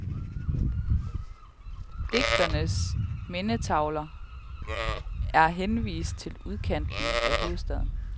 Digternes mindetavler er henvist til udkanten af hovedstaden.